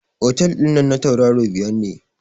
Otel dinnan na tauraro biyar ne.